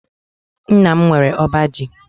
Nna m nwere ọba ji.